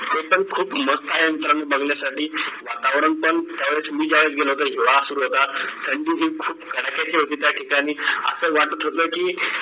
ते पण खूप मस्त आहे बघण्यासाठी वातावरण पण मी ज्यावेळेस गेलो होतो हिवाळा सुरु होता त्यांची जी थंडी खूप कड्याक्याची होती त्या ठिकाणी असं वाटत होत की